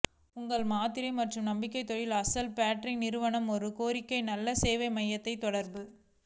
உங்கள் மாத்திரை மற்றும் நம்பிக்கை தொழில் அசல் பேட்டரி நிறுவ ஒரு கோரிக்கை நல்ல சேவை மையத்தை தொடர்பு